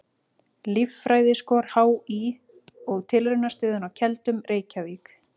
Líffræðiskor HÍ og Tilraunastöðin á Keldum, Reykjavík.